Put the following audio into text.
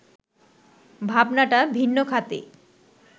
ভাবনাটা ভিন্ন খাতে